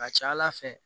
Ka ca ala fɛ